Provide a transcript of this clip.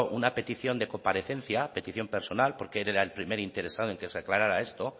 una petición de comparecencia petición personal porque él era el primer interesado en que se aclarara esto